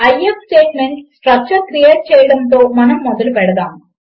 if statement structure create చేయడముతో మనము మొదలుపెడదాము